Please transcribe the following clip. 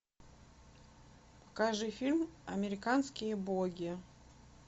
покажи фильм американские боги